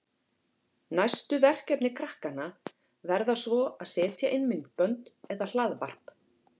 Næstu verkefni krakkanna verða svo að setja inn myndbönd eða hlaðvarp.